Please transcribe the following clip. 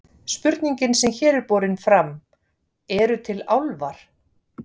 Spurningin sem hér er borin fram, Eru til álfar?